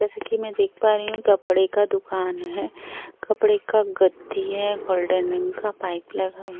जैसे कि मैं देख पा रही हूँ कपड़े का दुकान है कपड़े का गद्दी है गोल्डन रंग का पाइप लगा --